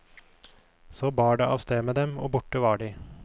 Så bar det avsted med dem, og borte var de.